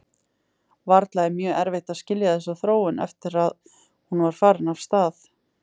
Varla er mjög erfitt að skilja þessa þróun eftir að hún var farin af stað.